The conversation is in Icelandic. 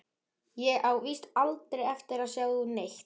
Ég á víst aldrei eftir að sjá neitt.